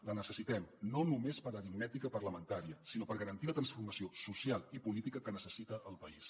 la necessitem no només per aritmètica parlamentària sinó per garantir la transformació social i política que necessita el país